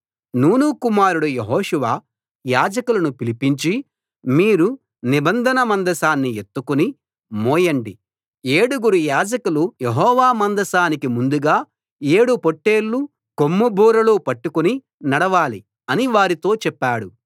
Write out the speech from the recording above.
నూను కుమారుడు యెహోషువ యాజకులను పిలిపించి మీరు నిబంధన మందసాన్ని ఎత్తుకుని మోయండి ఏడుగురు యాజకులు యెహోవా మందసానికి ముందుగా ఏడు పొట్టేలు కొమ్ము బూరలు పట్టుకుని నడవాలి అని వారితో చెప్పాడు